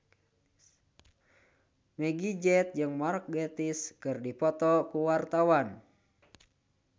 Meggie Z jeung Mark Gatiss keur dipoto ku wartawan